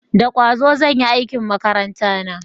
Da kwazo zan yi aikin makaranta na